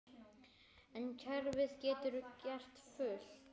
En kerfið getur gert fullt.